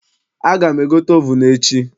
Aga m egote ovunu echi.